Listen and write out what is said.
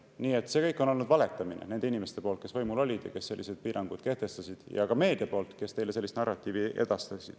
Nii et see kõik oli vale, mida need inimesed, kes võimul olid ja kes sellised piirangud kehtestasid, ning ka meedia, kes teile sellist narratiivi edastas.